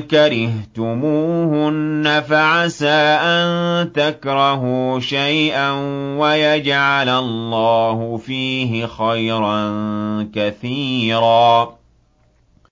كَرِهْتُمُوهُنَّ فَعَسَىٰ أَن تَكْرَهُوا شَيْئًا وَيَجْعَلَ اللَّهُ فِيهِ خَيْرًا كَثِيرًا